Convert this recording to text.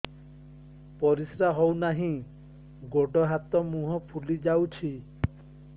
ପରିସ୍ରା ହଉ ନାହିଁ ଗୋଡ଼ ହାତ ମୁହଁ ଫୁଲି ଯାଉଛି